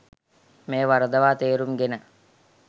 මෙය වරදවා තේරුම් ගෙන